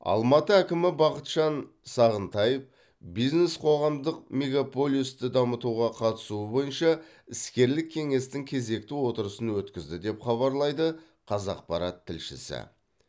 алматы әкімі бақытжан сағынтаев бизнес қоғамдық мегаполисті дамытуға қатысуы бойынша іскерлік кеңестің кезекті отырысын өткізді деп хабарлайды қазақпарат тілшісі